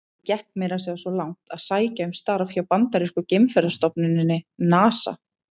Ég gekk meira að segja svo langt að sækja um starf hjá bandarísku geimferðastofnuninni, NASA.